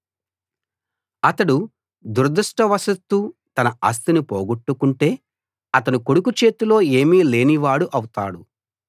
అతడు దురదృష్టవశాత్తూ తన ఆస్తిని పోగొట్టుకుంటే అతని కొడుకు చేతిలో ఏమీ లేనివాడు అవుతాడు